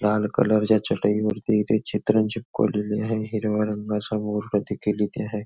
लाल कलरच्या चटईवरती इथे चित्र चिपकवलेली आहे हिरवा रंग समोर हा देखील इथे आहे.